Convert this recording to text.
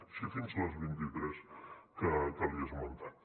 així fins a les vint i tres que li he esmentat